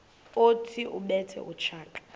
othi ubethe utshaka